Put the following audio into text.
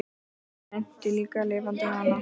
Ég meinti ekki LIFANDI HANA.